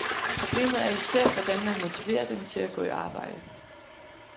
Problemet er især, hvordan man motiverer dem til at gå i arbejde.